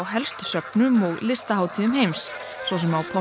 helstu söfnum og listahátíðum heims svo sem